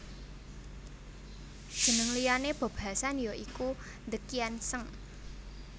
Jeneng liyané Bob Hasan ya iku The Kian Seng